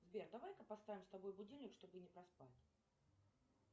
сбер давай ка поставим с тобой будильник чтобы не проспать